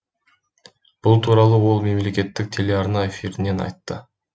бұл туралы ол мемлекеттік телеарна эфирінен айтты